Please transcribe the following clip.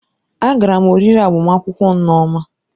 Agara m oriri agbamakwụkwọ nneoma